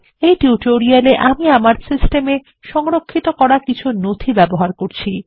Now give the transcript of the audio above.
এই টিউটোরিয়াল এ আমি আমার সিস্টেম এ সংরক্ষিত করা কিছু নথি ব্যবহার করব